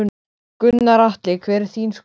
Gunnar Atli: Hver er þín skoðun?